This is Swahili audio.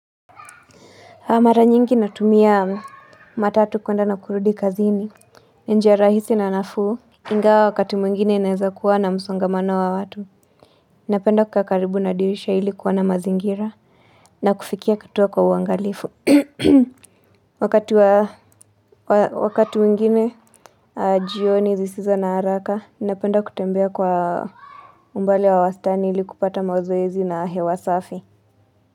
Mara nyingi natumia matatu kueanda na kurudi kazini, njia rahisi na nafu, ingawa wakati mwingine inaiza kuwa na msongamano wa watu. Napenda kukaakaribu na dirisha ilikuwa na mazingira na kufikia katuwa kwa uangalifu. Wakati mwingine, jioni zisiza na haraka, napenda kutembea kwa umbali wa wastani ilikupata mazoezezi na hewasafi.